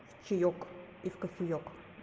в чаёк и в кофеёк